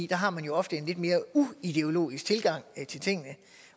der har man ofte en lidt mere uideologisk tilgang til tingene